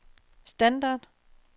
standard